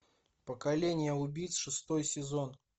поколение убийц шестой сезон